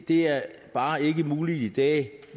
det er bare ikke muligt i dag